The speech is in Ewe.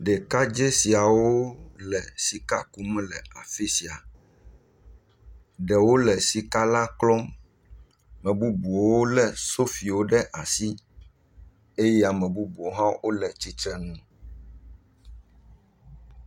Ɖekadze siawo le sika kum le afi sia. Ɖewo le sika la klɔm. Mebubu wo le sofiwo ɖe asi eye ame bubuwo hã wo le tsitrenu.